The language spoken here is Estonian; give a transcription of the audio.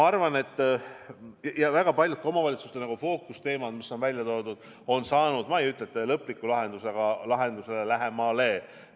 Ka väga paljud omavalitsuste fookusteemad on saanud küll mitte lõpliku lahenduse, aga lahendusele ollakse lähemal.